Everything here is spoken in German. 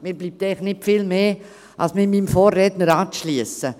Mir bleibt nicht viel mehr, als mich meinem Vorredner anzuschliessen.